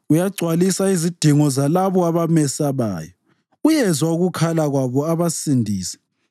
Uyagcwalisa izidingo zalabo abamesabayo; uyezwa ukukhala kwabo abasindise.